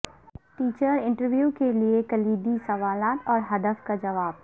teacher interview کے لئے کلیدی سوالات اور ھدف کا جواب